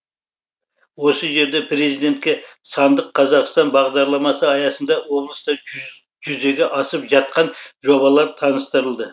осы жерде президентке сандық қазақстан бағдарламасы аясында облыста жүзеге асып жатқан жобалар таныстырылды